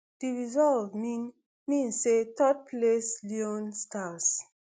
di result mean mean say thirdplaced leone stars